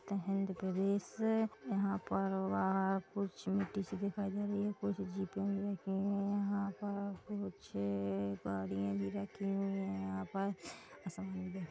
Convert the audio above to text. प्रदेश यहाँ पर वहाँ कुछ मिट्टी सी दिखाई दे रही है कुछ जीपे भी रखी हुई हैं यहाँ पर कुछ-- गाड़िया भी रखी हुई हैं यहाँ पर--